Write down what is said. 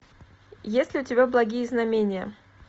есть ли у тебя благие знамения